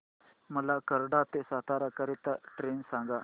मला कराड ते सातारा करीता ट्रेन सांगा